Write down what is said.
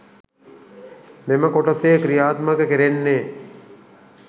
මෙම කොටසේ ක්‍රියාත්මක කෙරෙන්නේ